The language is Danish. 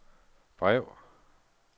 brev